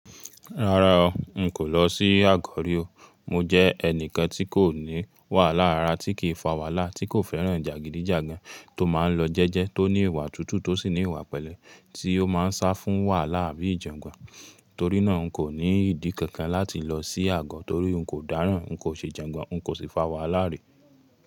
Rárá o, n kò lọ sí Àgọ̀ rí o. Mo jẹ́ ẹnìkan tí kò ní wàhálà rara, tí kìí fà wàhálà, tí kò fẹ́ràn jàgídíjàgan, tó máa ń lọ jẹ́jẹ́, tó ní ìwà tútù, tó sì ní ìwà pẹ̀lẹ́, tí ó máa ń sá fún wàhálà àbí ìjàngbon. Torí náà, n kò ní ìdí kankan láti lọ sí Àgọ̀ torí n kò dáràn, n kò ṣe jàngbon, n kò sì fà wàhálà rí.